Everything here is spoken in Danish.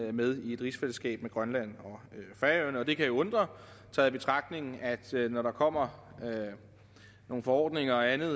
er med i et rigsfællesskab med grønland og færøerne og det kan jo undre taget i betragtning at når der kommer nogle forordninger og andet